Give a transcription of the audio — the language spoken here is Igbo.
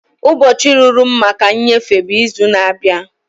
Ụbọchị ruru m maka nnyefe bụ izu na-abịa.